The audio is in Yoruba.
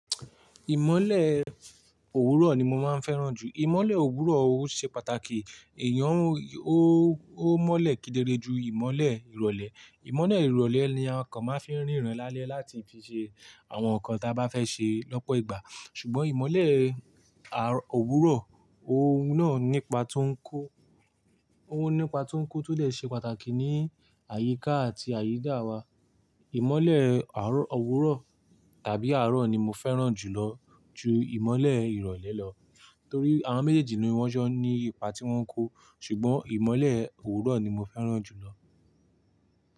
Ìmọ́lẹ̀ òwúrọ̀ ni mo máa ń fẹ́ràn jù. Ìmọ́lẹ̀ òwúrọ̀ ó ṣe pàtàkì, èèyàn ó, ó mọ́lẹ̀ kedere ju ìmọ́lẹ̀ ìrọ̀lẹ́. Ìmọ́lẹ̀ ìrọ̀lẹ́ ni àwọn kan máa ń fi rínran lálẹ́ láti fi ṣe àwọn nǹkan ta bá fẹ́ ṣe lọ́pọ̀ ìgbà. Ṣùgbọ́n ìmọ́lẹ̀ àárọ̀, òwúrọ̀, òun náà nípa tó ń kó. Ó nípa tó ń kó tó lè ṣe pàtàkì ní àyíká àti àyídà wa. Ìmọ́lẹ̀ àárọ̀ òwúrọ̀ tàbí àárọ̀ ni mo fẹ́ràn jùlọ ju ìmọ́lẹ̀ ìrọ̀lẹ́ lọ. Nítorí àwọn méjèèjì ni wọ́n jọ ní ipa tí wọ́n ń kó. Ṣùgbọ́n ìmọ́lẹ̀ òwúrọ̀ ni mo fẹ́ràn jùlọ.